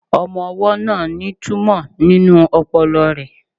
Ọmọ-ọwọ́ náà ní túmọ̀ nínú ọpọlọ rẹ̀